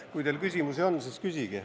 Kui teil küsimusi on, siis küsige.